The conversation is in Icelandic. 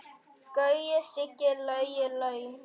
Gaui, Siggi, Lauga, Laugi.